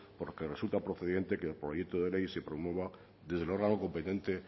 por lo que resulta procedente que el proyecto de ley se promueva desde el órgano competente